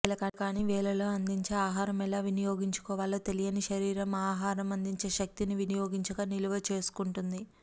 వేళకాని వేళలో అందించే ఆహారం ఎలా వినియోగించుకోవాలో తెలియని శరీరం ఆ ఆహారం అందించే శక్తిని వినియోగించక నిలువ చేసుకుంటోంది